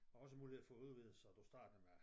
Og også mulighed for at udvide så du starter med